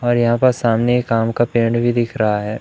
और यहां पर सामने एक आम का पेड़ भी दिख रहा है।